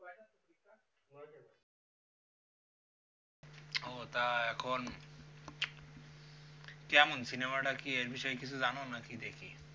তা এখন কেমন সিনেমাটার কি এর বিষয়ে কিছু জানো নাকি দেখি